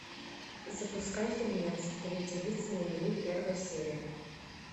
запускай фильмец две девицы на мели первая серия